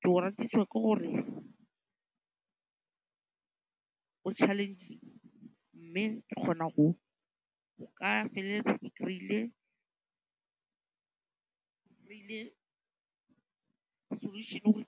Ke o ratisiwa ke gore o challenging mme ke kgona go ka feleletsa ke kry-ile solution-e gore